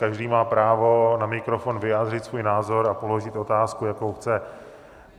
Každý má právo na mikrofon vyjádřit svůj názor a položit otázku, jakou chce.